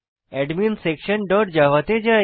adminsectionজাভা তে যাই